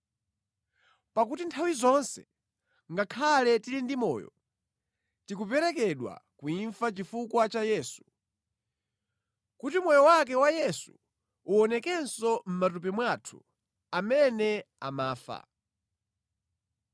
Pakuti nthawi zonse, ngakhale tili ndi moyo, tikuperekedwa ku imfa chifukwa cha Yesu, kuti moyo wake wa Yesu uwonekenso mʼmatupi mwathu amene amafa.